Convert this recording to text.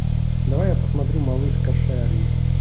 давай я посмотрю малышка шерри